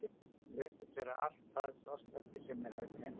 Hún reyndist vera allt það lostæti sem mig hafði dreymt um.